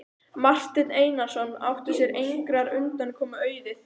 Marteinn Einarsson átti sér engrar undankomu auðið.